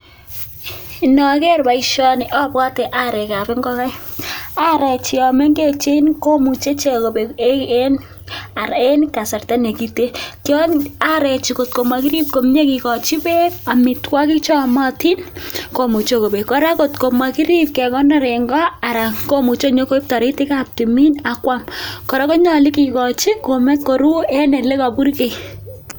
Inoker boishoni obwpte arekab ing'okaik, aree chomeng'echen komuche ichek kobek en kasarta nekiten choon arechu kot ko mokirib koime kikochi beek, amitwokik cheyomotin komuche kobek, kora kot komokirib kekonor en koo aran komuche konyokoib toritikab timin akwam, korra konyolu kikochi koruu en olekoburkei.